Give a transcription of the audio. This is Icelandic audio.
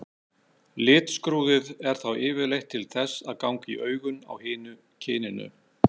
Litskrúðið er þá yfirleitt til þess að ganga í augun á hinu kyninu.